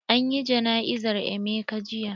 An yi jana'izar emeka jiya.